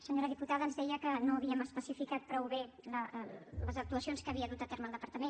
senyora diputada ens deia que no havíem especificat prou bé les actuacions que havia dut a terme el departament